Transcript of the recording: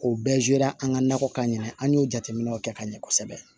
K'o bɛɛ an ka nakɔkan in na an y'o jateminɛw kɛ ka ɲɛ kosɛbɛ